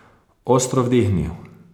Ostro vdihnil.